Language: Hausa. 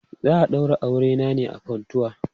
Za a daura auren ne a Funtua.